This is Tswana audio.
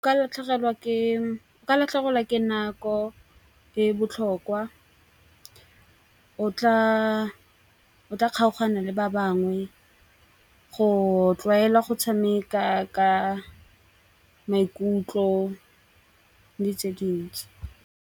Ka latlhegelwa ke nako e botlhokwa o tla kgaogane le ba bangwe go tlwaela go tshameka ka maikutlo di tse dintsi.